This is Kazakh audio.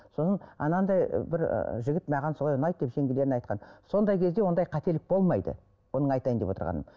соның анандай ы бір ы жігіт маған солай ұнайды деп жеңгелеріне айтқан сондай кезде ондай қателік болмайды бұның айтайын деп отырғаным